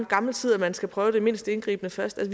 gammel tid at man skal prøve det mindst indgribende først